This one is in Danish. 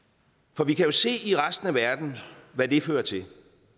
for vi kan jo se i resten af verden hvad det fører til